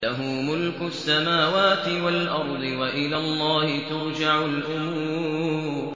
لَّهُ مُلْكُ السَّمَاوَاتِ وَالْأَرْضِ ۚ وَإِلَى اللَّهِ تُرْجَعُ الْأُمُورُ